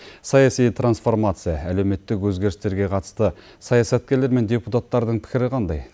саяси трансформация әлеуметтік өзгерістерге қатысты саясаткерлер мен депутаттардың пікірі қандай